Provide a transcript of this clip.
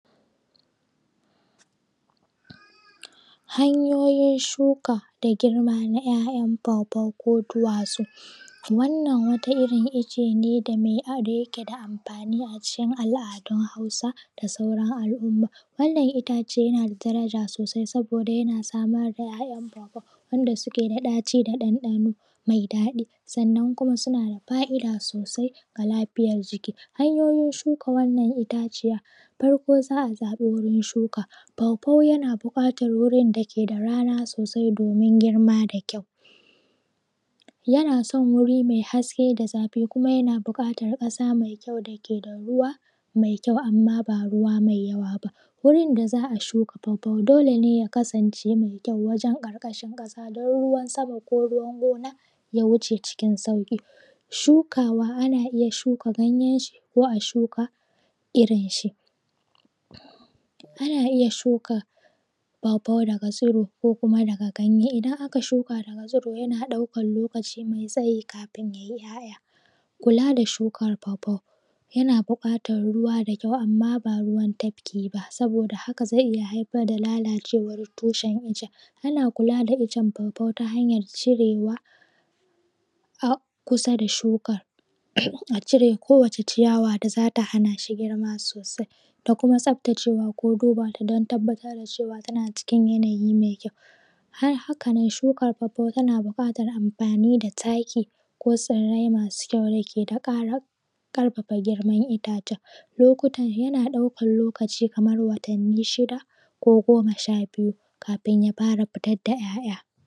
Hanyoyin shuka da girma na ‘ya’yan pawpaw ko duwatsu wannan wata irin icce ne da ya ke da amfani a cikin al’adun hausa da sauran al’umma. Wannan itace na da daraja sosai saboda yana samar ‘ya’yan pawpaw wanda suke da ɗaci da ɗanɗano mai daɗi sannan kuma suna da fa'ida sosai ga lafiyar jiki. Hanyoyin shuka wannan itaciyar farko za a saba gurin shuka pawpaw yana buƙatar gurin da ke da rana sosai domin girma da kyau yana son guri mai haske da zafi kuma yana buƙatar ƙasa mai kyau da ke da ruwa mai kyau amma ba ruwa mai yawa ba. Gurin da za a shuka pawpaw dole ne ya kasance mai kyau wajen ƙarƙashin ƙasa don ruwan sama ko ruwan gona ya wuce cikin sauƙi. Shukawa ana iya shuka ganyen shi ko a shuka irin shi ana iya shuka pawpaw daga tsuro ko kuma daga ganye. Idan aka shuka daga tsuro yana ɗaukan lokaci mai tsayi kafin ya yi ‘ya’ya. Kula da shukan pawpaw yana buƙatar ruwa da kyau amma ba ruwan tafki ba, saboda haka zai iya haifar da lalacewan tushen iccen. Ana kula da iccen pawpaw ta hanyar cirewa a kusa da shukan a cire kowace ciyawa da zata hana shi girma sosai da kuma tsaftacewa ko duba ta don tabbatar da cewa tana cikin yanayi mai kyau har hakanan shukan pawpaw tana buƙatar amfani da taki ko tsirrai masu kyau da ke da ƙara ƙarfafa ƙarfin itacen. Lokutan ya na ɗaukan lokacin kamar watanni shida ko goma sha biyu kafin yafara fitar da yaya